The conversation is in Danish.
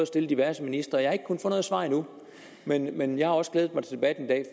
stille diverse ministre jeg har ikke kunnet få noget svar endnu men men jeg har også glædet mig til debatten